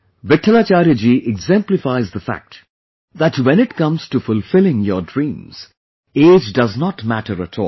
Vithalacharya ji exemplifies the fact that when it comes to fulfilling your dreams, age does not matter at all